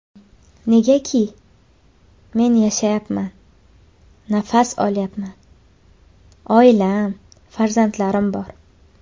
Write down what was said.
Negaki, men yashayapman, nafas olayapman, oilam, farzandlarim bor.